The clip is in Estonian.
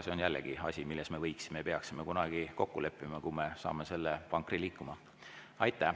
See on jällegi asi, milles me võiksime ja peaksime kunagi kokku leppima, kui me saame selle vankri liikuma.